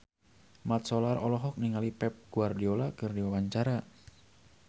Mat Solar olohok ningali Pep Guardiola keur diwawancara